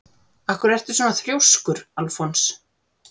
Af hverju ertu svona þrjóskur, Alfons?